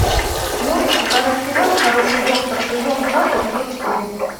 можешь показать сериал хороший доктор сезон два эпизод четыре